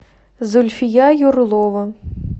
зульфия юрлова